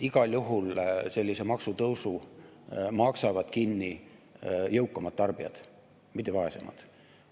Igal juhul sellise maksutõusu maksavad kinni jõukamad tarbijad, mitte vaesemad.